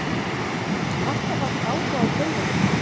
Alltaf haft áhuga á tölvuleikjum